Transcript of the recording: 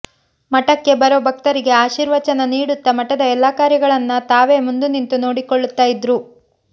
ಮಠಕ್ಕೆ ಬರೋ ಭಕ್ತರಿಗೆ ಆಶೀರ್ವಚನ ನೀಡುತ್ತಾ ಮಠದ ಎಲ್ಲಾ ಕಾರ್ಯಗಳನ್ನ ತಾವೇ ಮುಂದು ನಿಂತು ನೋಡಿಕೊಳ್ಳುತ್ತಾ ಇದ್ರು